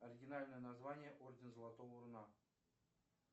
оригинальное название орден золотого руна